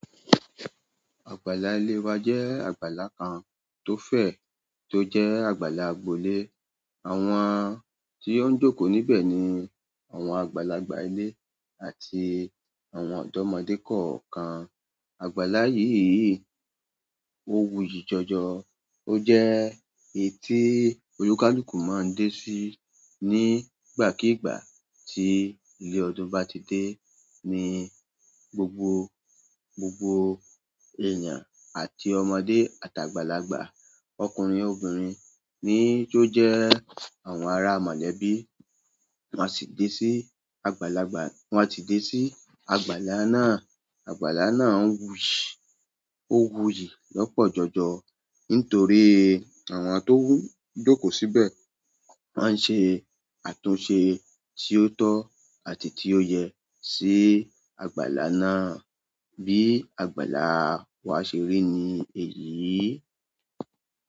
Àgbàlá ilé wa jẹ́ àgbàlá kan tó fẹ̀, tó jẹ́ àgbàlá agbolé. Àwọn tí ó ń jókòó níbẹ̀ ni àwọn àgbàlagbà ilé àti àwọn ọ̀dọ́mọdé kọ̀ọ̀kan. Àgbàlá yìí, ó wuyì jọjọ. Ó jẹ́ èyí tí olùkálùkù máa ń dé sí nígbàkígbà tí ilé ọdún bá ti dé. Ni gbogbo, gbogbo èèyàn àti ọmọdé àti àgbàlagbà ọkùnrin obìnrin ní tó jẹ́ àwọn ará mọ̀lẹ́bí, wọn a sì dé sí àgbàlagbà, wọn a sì dé sí àgbàlá náà. Àgbàlá náà wuyi, o wuyi lọ́pọ̀ jọjọ nítorí àwọn to n jókòó síbẹ̀ wọn n ṣe àtúnṣe ti o tọ àti ti o yẹ si àgbàlá náà. Bí àgbàlá wa ṣe rí ni èyí.